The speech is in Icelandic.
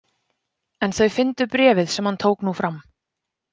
En þau fyndu bréfið sem hann tók nú fram.